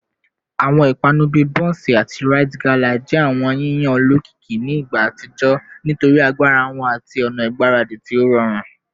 Awọn ipanu bii bonsi ati rite gala jẹ awọn yiyan olokiki ni igba atijọ nitori agbara wọn ati awọn ọna igbaradi ti o rọrun